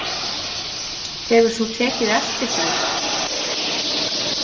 Hefur þú tekið eftir því?